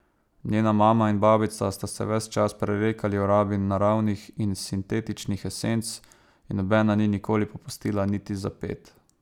Njena mama in babica sta se ves čas prerekali o rabi naravnih in sintetičnih esenc in nobena ni nikoli popustila niti za ped.